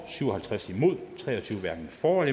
syv og halvtreds hverken for